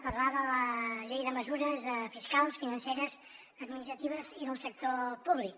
parlem de la llei de mesures fiscals financeres administratives i del sector públic